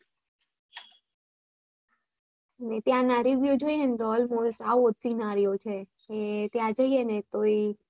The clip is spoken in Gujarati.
ત્યાંના review જોય ને તો almost આવો જ scenario છે ત્યાં જઈએને તો ઈ